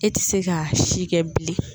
E tɛ se ka si kɛ bilen